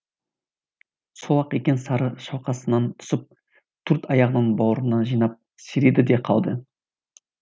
сол ақ екен сары шалқасынан түсіп төрт аяғын бауырына жинап серейді де қалды